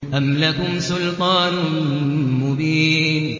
أَمْ لَكُمْ سُلْطَانٌ مُّبِينٌ